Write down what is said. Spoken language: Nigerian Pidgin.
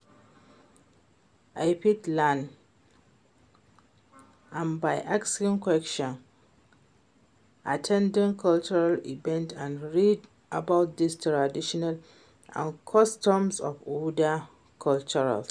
I fit learn am by asking questions, at ten ding cultural events and read about di traditions and customs of oda cultures.